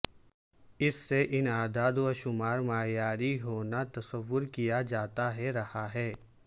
اس سے ان اعداد و شمار معیاری ہونا تصور کیا جاتا ہے رہا ہے